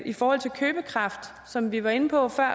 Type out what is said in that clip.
i forhold til købekraft som vi var inde på før